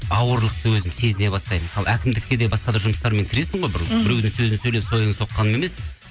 ауырлықты өзім сезіне бастаймын мысалы әкімдкке де басқа да жұмыстармен кіресің ғой бір мхм біреудің сөзін сөйлеп сойылын соққаным емес